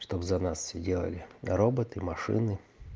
чтоб за нас всё делали роботы машины